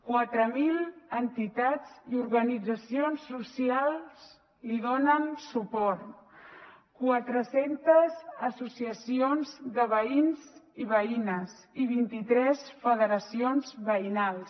quatre mil entitats i organitzacions socials li donen suport quatre centes associacions de veïns i veïnes i vint i tres federacions veïnals